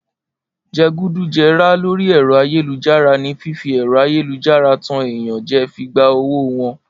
Jẹgúdújẹrá lórí ẹ̀rọ ayélujára ni fífi ẹ̀rọ ayélujára tan èèyàn jẹ fi gba owó wọn